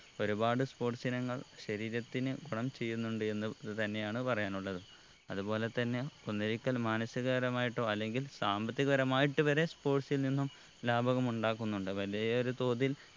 ഒരുപാട് sports ഇനങ്ങൾ ശരീരത്തിന് ഗുണം ചെയ്യുന്നുണ്ട് എന്ന് ഇത് തന്നെയാണ് പറയാനുള്ളത് അതുപോലെ തന്നെ ഒന്നൊരിക്കൽ മാനസിക കരമായിട്ടോ അല്ലെങ്കിൽ സാമ്പത്തിക പരമായിട്ട് വരെ sports ൽ നിന്നും ലാഭകം ഉണ്ടാക്കുന്നുണ്ട് വലിയൊരു തോതിൽ